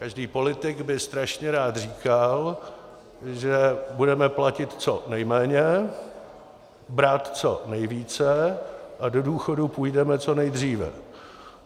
Každý politik by strašně rád říkal, že budeme platit co nejméně, brát co nejvíce a do důchodu půjdeme co nejdříve.